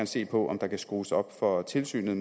se på om der kan skrues op for tilsynet